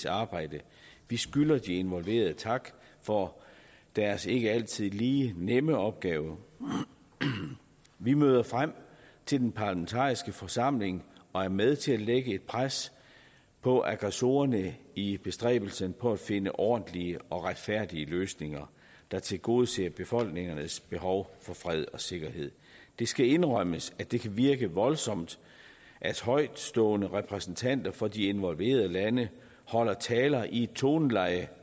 arbejde vi skylder de involverede tak for deres ikke altid lige nemme opgave vi møder frem til den parlamentariske forsamling og er med til at lægge et pres på aggressorerne i bestræbelserne på at finde ordentlige og retfærdige løsninger der tilgodeser befolkningernes behov for fred og sikkerhed det skal indrømmes at det kan virke voldsomt at højtstående repræsentanter for de involverede lande holder taler i et toneleje